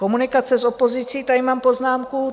Komunikace s opozicí - tady mám poznámku.